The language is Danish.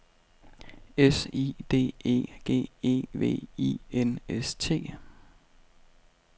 S I D E G E V I N S T